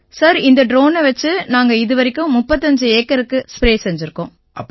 sir இந்த ட்ரோனை வச்சு நாங்க இதுவரைக்கும் 35 ஏக்கருக்கு ஸ்ப்ரே செஞ்சிருக்கோம்